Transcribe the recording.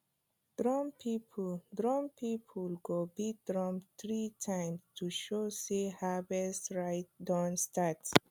drum people drum people go beat drum three times to show sey harvest rite don start